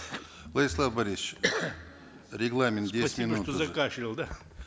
владислав борисович регламент спасибо что закашлял да